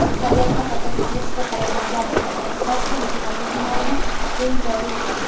tabiatni qayta tiklashga qaratilgan kompensatsiya mexanizmlarini keng joriy etadi.